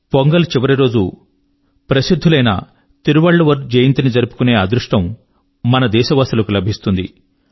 పొంగల్ యొక్క చివరి రోజు గొప్పవారైన తిరువళ్ళువర్ జయంతి ని జరుపుకునే అదృష్టం మన దేశవాసుల కు లభిస్తుంది